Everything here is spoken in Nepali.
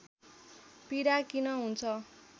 पीडा किन हुन्छ